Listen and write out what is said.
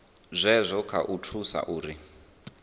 zwazwo kha u thusa uri